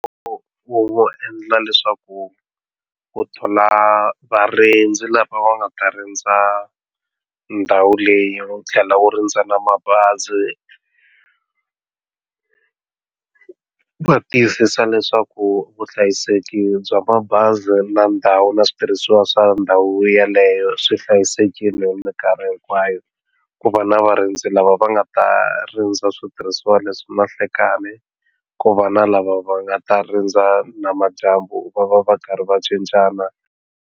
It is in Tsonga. Ku endla leswaku ku thola varindzi lava nga ta rindza ndhawu leyi u tlhela ku rindza na mabazi va tiyisisa leswaku vuhlayiseki bya mabazi na ndhawu na switirhisiwa swa ndhawu yeleyo swi hlayisekile hi minkarhi hinkwayo ku va na varindzi lava va nga ta rindza switirhisiwa leswi na nhlikani ku va na lava va nga ta rindza na madyambu va va va karhi va cincana.